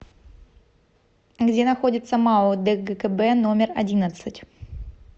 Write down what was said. где находится мау дгкб номер одиннадцать